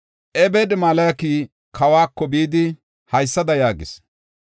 Ebed-Meleki kawako bidi, haysada yaagis;